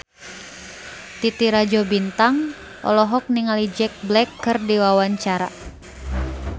Titi Rajo Bintang olohok ningali Jack Black keur diwawancara